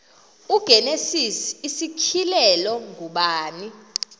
igenesis isityhilelo ngubani